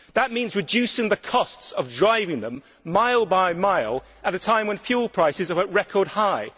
That means reducing the costs of driving them, mile by mile, at a time when fuel prices are at a record high.